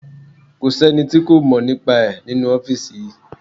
Kò sí ẹni tí kò mọ̀ nípa ẹ̀ nínú ọ́fìsì yìí